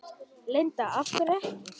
Linda: Af hverju ekki?